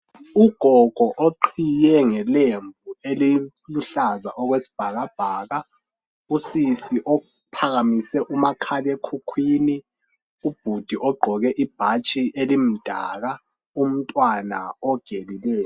Ugogo oqhiye ngelembu eliluhlaza okwesibhakabhaka, usisi ophakamise umakhalekhukhwini, ubhudi ogqoke ibhatshi elimdaka, umntwana ogelileyo.